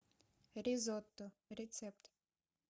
ризотто рецепт